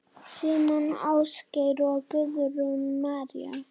Símon Ásgeir og Guðrún María.